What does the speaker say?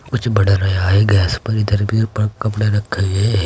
कुछ बड़ा है गैस पर इधर भी ऊपर कपड़ा रखा गया है।